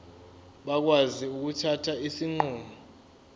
bakwazi ukuthatha izinqumo